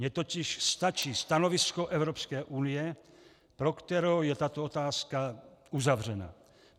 Mně totiž stačí stanovisko Evropské unie, pro kterou je tato otázka uzavřená.